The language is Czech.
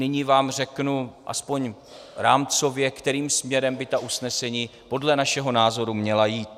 Nyní vám řeknu aspoň rámcově, kterým směrem by ta usnesení podle našeho názoru měla jít.